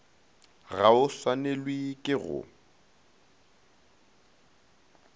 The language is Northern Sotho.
ga o swanelwe ke go